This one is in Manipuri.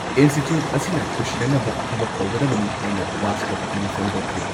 ꯏꯟꯁꯇꯤꯇ꯭ꯌꯨꯠ ꯑꯁꯤꯅ ꯄꯨꯁꯤꯟꯅꯅꯕ ꯊꯕꯛ ꯇꯧꯒꯗꯕꯅꯤ ꯍꯥꯏꯅ ꯔꯥꯁꯇ꯭ꯔꯄꯇꯤꯅ ꯐꯣꯡꯗꯣꯛꯈꯤ ꯫